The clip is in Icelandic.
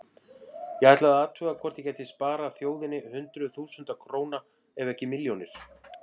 Ég ætlaði að athuga hvort ég gæti sparað þjóðinni hundruð þúsunda króna ef ekki milljónir.